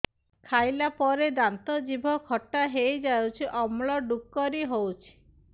ଖାଇଲା ପରେ ଦାନ୍ତ ଜିଭ ଖଟା ହେଇଯାଉଛି ଅମ୍ଳ ଡ଼ୁକରି ହଉଛି